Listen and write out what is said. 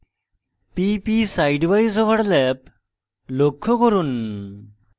pp sidewise overlap লক্ষ্য করুন